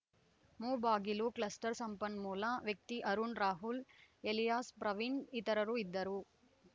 Moobagilu cluster ಸಂಪನ್ಮೂಲ ವ್ಯಕ್ತಿ Arun Rahul Elias Praveen ಇತರರು ಇದ್ದರು